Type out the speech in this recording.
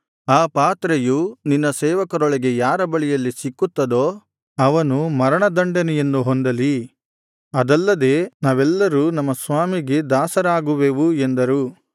ಆ ಪಾತ್ರೆಯು ನಿನ್ನ ಸೇವಕರೊಳಗೆ ಯಾರ ಬಳಿಯಲ್ಲಿ ಸಿಕ್ಕುತ್ತದೋ ಅವನು ಮರಣ ದಂಡನೆಯನ್ನು ಹೊಂದಲಿ ಅದಲ್ಲದೆ ನಾವೆಲ್ಲರೂ ನಮ್ಮ ಸ್ವಾಮಿಗೆ ದಾಸರಾಗುವೆವು ಎಂದರು